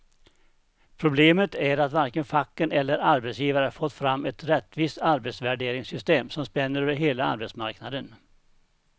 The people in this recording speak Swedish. Problemet är att varken facken eller arbetsgivare fått fram ett rättvist arbetsvärderingssystem som spänner över hela arbetsmarknaden.